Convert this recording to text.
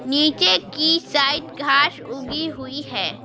नीचे की साइड घास उगी हुई है।